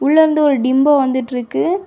உள்ளயிருந்து ஒரு டிம்போ வந்துட்டுயிருக்கு.